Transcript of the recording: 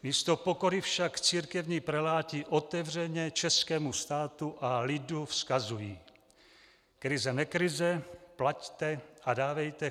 Místo pokory však církevní preláti otevřeně českému státu a lidu vzkazují: "Krize nekrize, plaťte a dávejte.